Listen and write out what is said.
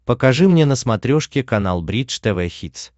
покажи мне на смотрешке канал бридж тв хитс